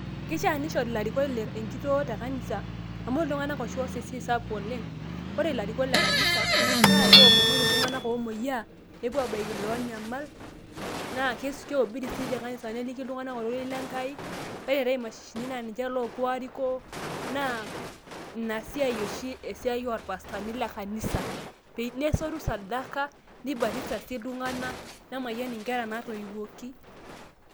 kishaa nishori ilarikok enkitoo te kanisa amu iltunganak oshi ooas esiai spuk oleng, keomonoki iltunganak oo moyiaa, nepuo aabaiki iloo nyamal, naa keobiri sii te kanisa neliki iltung'anak ororei lenkai. ore eetae imashshini nepuuo arikoo, neibatisa sii iltunganak, nesotu sadaka.